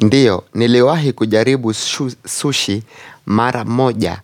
Ndiyo, niliwahi kujaribu sushi, mara moja,